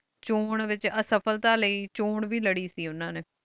ਚੋਣ ਵਿਚ ਇਸ੍ਫਾਲਤਾ ਲਾਏ ਚੋਣ ਵੇ ਲਾਰੀ ਸੇ ਓਹਨਾ ਨੀ